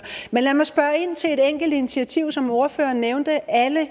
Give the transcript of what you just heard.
men lad mig spørge ind til et enkelt initiativ som ordføreren nævnte alle